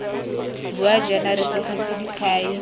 bua jaana re tlogetse dikhai